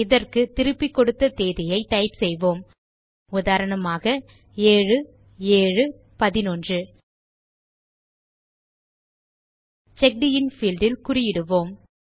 இதற்கு திருப்பிக் கொடுத்த தேதியை டைப் செய்வோம் உதாரணமாக 7711 செக்ட் இன் பீல்ட் இல் குறியிடுவோம்